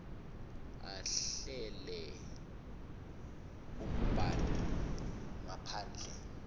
ahlele umbhalo ngaphandle